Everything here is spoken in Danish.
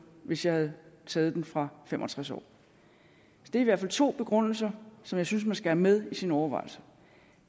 hvis jeg havde taget den fra fem og tres år det er i hvert fald to begrundelser som jeg synes at med i sine overvejelser